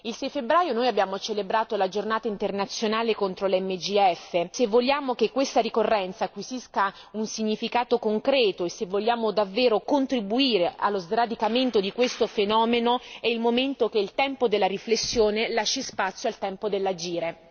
Se a febbraio noi abbiamo celebrato la giornata internazionale contro le MGF, se vogliamo che questa ricorrenza acquisisca un significato concreto e se vogliamo davvero contribuire allo sradicamento di questo fenomeno, è il momento che il tempo della riflessione lasci spazio al tempo dell'agire.